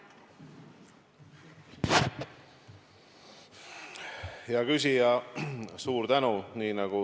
Hea küsija, suur tänu!